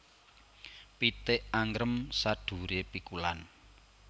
Pitik angrem saduwure pikulan